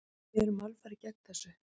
Við erum alfarið gegn þessu.